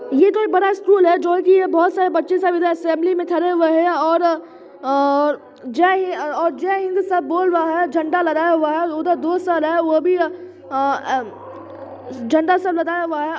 ये कोई बड़ा स्कूल है जो की बहुत सारे बच्चे सब इधर असेंबली में खड़े हुए हैं और आ-जाए जय हिंद जय हिन्द सब बोल रहे हैंझंडा लगाए हुए हैं उधर दो सर है वो भी आ-ओ झंडा सब लगाए हुए है ।